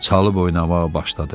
Çalıb oynamağa başladı.